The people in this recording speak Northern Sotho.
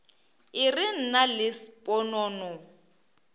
e re nna le sponono